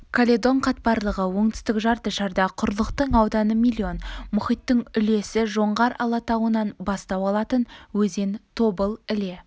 каледон қатпарлығы оңтүстік жарты шарда құрлықтың ауданы млн мұхиттың үлесі жоңғар алатауынан бастау алатын өзен тобыл іле